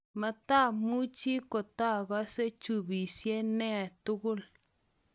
matamuchi kotaagase chubisye niee tugul